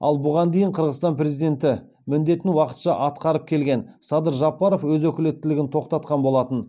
ал бұған дейін қырғызстан президенті міндетін уақытша атқарып келген садыр жапаров өз өкілеттілігін тоқтатқан болатын